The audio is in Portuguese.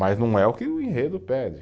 Mas não é o que o enredo pede.